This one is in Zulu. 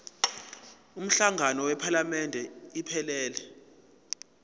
umhlangano wephalamende iphelele